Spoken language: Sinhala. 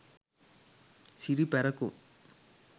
siri parakum